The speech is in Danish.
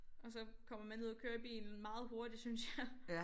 Og så kommer man ned og køre i bilen meget hurtigt synes jeg